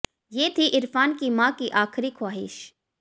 ये थी इरफान की मां की आखिरी ख्वाहिश